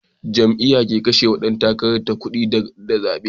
Jam'iya ke kashewa Dan takarar ta kudi da zabe